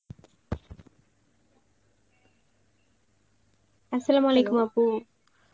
Arbi আপু